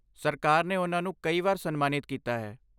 ਸਰਕਾਰ ਨੇ ਉਨ੍ਹਾਂ ਨੂੰ ਕਈ ਵਾਰ ਸਨਮਾਨਿਤ ਕੀਤਾ ਹੈ ।